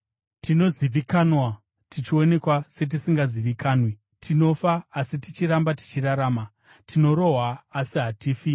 tinozivikanwa tichionekwa setisingazivikanwi; tinofa, asi tichiramba tichirarama, tinorohwa asi hatifi;